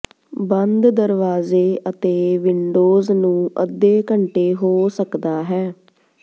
ਬੰਦ ਦਰਵਾਜ਼ੇ ਅਤੇ ਵਿੰਡੋਜ਼ ਨੂੰ ਅੱਧੇ ਘੰਟੇ ਹੋ ਸਕਦਾ ਹੈ